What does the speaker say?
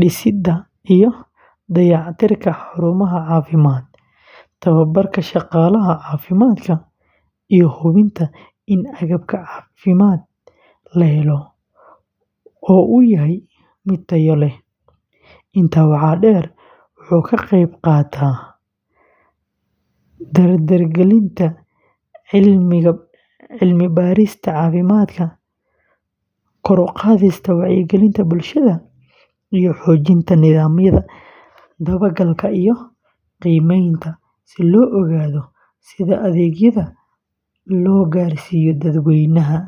dhisidda iyo dayactirka xarumaha caafimaadka, tababarka shaqaalaha caafimaadka, iyo hubinta in agabka caafimaad la helo oo uu yahay mid tayo leh. Intaa waxaa dheer, wuxuu ka qeyb qaataa dardargelinta cilmi-baarista caafimaadka, kor u qaadista wacyigelinta bulshada, iyo xoojinta nidaamyada dabagalka iyo qiimaynta si loo ogaado sida adeegyada loo gaarsiiyo dadweynaha.